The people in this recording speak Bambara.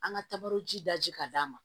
An ka tabali ji daji k'a d'a ma